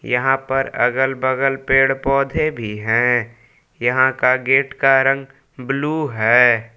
यहां पर अगल बगल पेड़ पौधे भी हैं यहां का गेट का रंग ब्लू हैं।